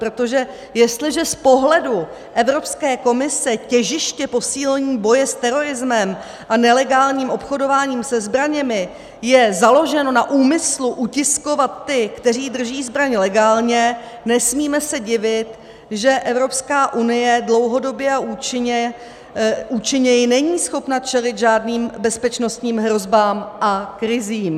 Protože jestliže z pohledu Evropské komise těžiště posílení boje s terorismem a nelegálním obchodováním se zbraněmi je založeno na úmyslu utiskovat ty, kteří drží zbraň legálně, nesmíme se divit, že Evropská unie dlouhodobě a účinněji není schopna čelit žádným bezpečnostním hrozbám a krizím.